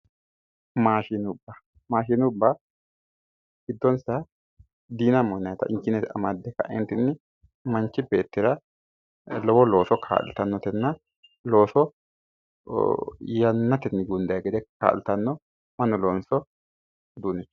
Maashinubba maashinubba giddonsa yinayta injiine amadde ka'eentinni manchi beettira lowo looso kaa'litannotenna looso yannatenni gundayi gede kaa'litanno mannu loonso uduunnichooti